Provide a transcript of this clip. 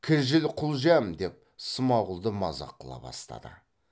кіжіл құлжәм деп смағұлды мазақ қыла бастады